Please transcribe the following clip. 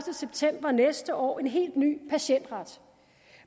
september næste år en helt ny patientret